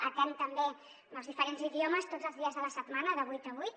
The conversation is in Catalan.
atén també en els diferents idiomes tots els dies de la setmana de vuit a vuit